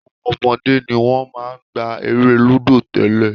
Àwọn ọmọdé ni wọ́n máa ń gbá eré lúdò tẹ́lẹ̀